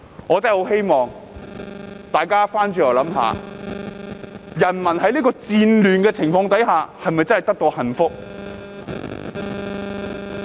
我真的很希望大家反思一下，人民在戰亂的情況下是否真的得到幸福？